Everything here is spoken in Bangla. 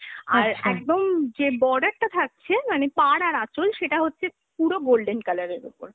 আর একদম যে border টা থাকছে মানে পাড় আর আচল সেটা হচ্ছে পুরো golden colour এর ওপর।